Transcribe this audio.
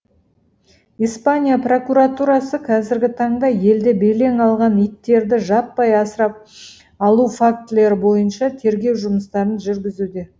испания прокуратурасы қазіргі таңда елде белең алған иттерді жаппай асырап алу фактілері бойынша тергеу жұмыстарын жүргізуде